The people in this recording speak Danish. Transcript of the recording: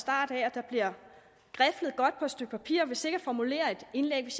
der bliver griflet godt på et stykke papir og sikkert formuleret et indlæg hvis